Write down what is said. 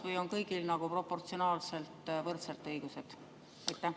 Või on kõigil nagu proportsionaalselt võrdsed õigused?